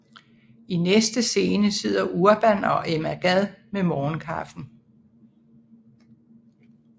I næste scene sidder Urban og Emma Gad med morgenkaffen